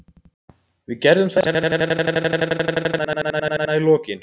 Við gerðum það og náum að vera með sannfærandi sigur hérna í lokin.